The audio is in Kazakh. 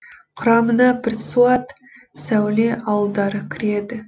құрамына бірсуат сәуле ауылдары кіреді